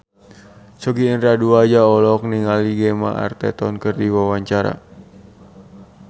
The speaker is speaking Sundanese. Sogi Indra Duaja olohok ningali Gemma Arterton keur diwawancara